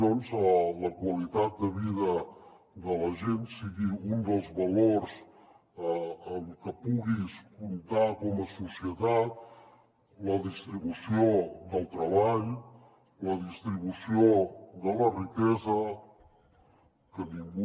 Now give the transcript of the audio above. doncs la qualitat de vida de la gent sigui un dels valors amb què puguis comptar com a societat la distribució del treball la distribució de la riquesa que ningú